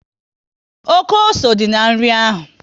Oké ose dị na nri ahụ